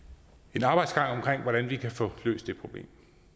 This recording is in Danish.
en arbejdsgang for hvordan vi kan få løst det problem